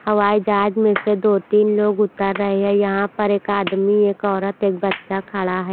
हवाईजहाज में से दो तीन लोग उतर रहे है यहां पर एक आदमी एक औरत एक बच्चा खड़ा है।